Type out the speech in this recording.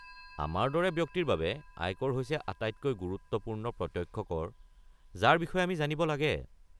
আমাৰ দৰে ব্যক্তিৰ বাবে, আয়কৰ হৈছে আটাইতকৈ গুৰুত্বপূৰ্ণ প্ৰত্যক্ষ কৰ যাৰ বিষয়ে আমি জানিব লাগে।